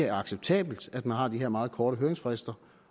er acceptabelt at man har de her meget korte høringsfrister